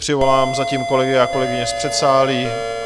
Přivolám zatím kolegy a kolegyně z předsálí.